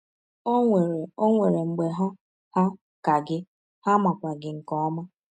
Ọ nwere Ọ nwere mgbe ha hà ka gị, ha makwa gị nke ọma.